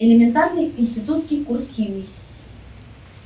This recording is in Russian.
элементарный институтский курс химии